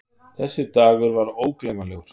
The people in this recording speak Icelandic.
Þessi dagur var ógleymanlegur.